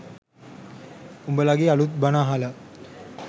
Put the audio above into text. උඹලගේ අලුත් බණ අහලා